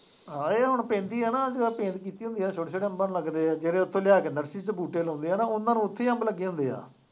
ਹਾਂ ਇਹ ਹੁਣ ਪੈਂਦੀ ਹੈ ਨਾ, ਜਦੋਂ ਪੈਂਦੀ ਹੁੰਦੀ ਹੈ ਛੋਟੇ ਛੋਟੇ ਅੰਬਾਂ ਨੂੰ ਲੱਗਦੇ ਹੈ, ਜਿਹੜੇ ਉੱਥੋਂ ਲਿਆ ਕੇ ਨਰਸਰੀ ਚ ਬੂਟੇ ਲਗਾਉਂਦੇ ਹੈ ਨਾ, ਉਹਨਾ ਨੂੰ ਉੱਥੇ ਹੀ ਅੰਬ ਲੱਗੇ ਹੁੰਦੇ ਹੈ।